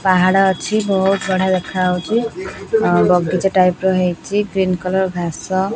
ପାହାଡ଼ ଅଛି ବହୁତ୍ ବଢ଼ିଆ ଦେଖା ଯାଉଛି ଆଉ ବଗିଚା ଟାଇପ୍ ର ହେଇଚି ଗ୍ରୀନ କଲର ଘସା।